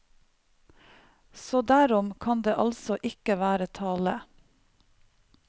Så derom kan det altså ikke være tale.